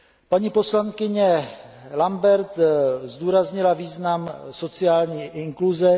Paní poslankyně Lambert zdůraznila význam sociální inkluze.